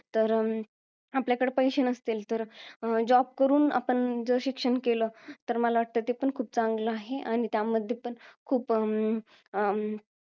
तर अं आपल्याकडं पैशे नसतील, तर job करून आपण शिक्षण केलं. तर मला वाटतं ते पण खूप चांगलं आहे, आणि त्यामध्ये पण खूप अं अं